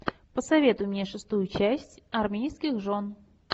посоветуй мне шестую часть армейских жен